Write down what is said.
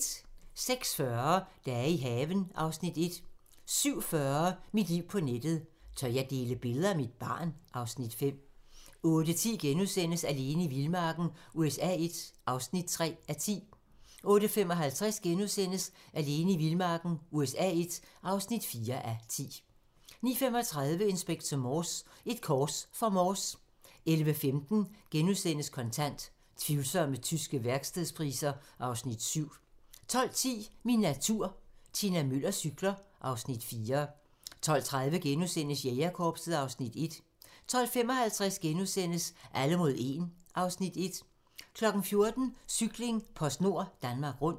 06:40: Dage i haven (Afs. 1) 07:40: Mit liv på nettet: Tør jeg dele billeder af mit barn? (Afs. 5) 08:10: Alene i vildmarken USA I (3:10)* 08:55: Alene i vildmarken USA I (4:10)* 09:35: Inspector Morse: Et kors for Morse 11:15: Kontant: Tvivlsomme tyske værkstedspriser (Afs. 7)* 12:10: Min natur - Tina Müller cykler (Afs. 4) 12:30: Jægerkorpset (Afs. 1)* 12:55: Alle mod 1 (Afs. 1)* 14:00: Cykling: PostNord Danmark Rundt